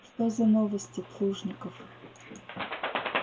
что за новости плужников